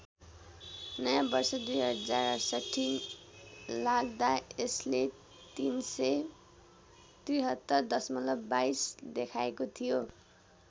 नयाँ वर्ष २०६८ लाग्दा यसले ३७३ दशमलव २२ देखाएको थियो।